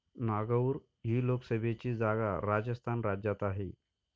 नागौर ही लोकसभेची जागा राजस्थान राज्यात आहे.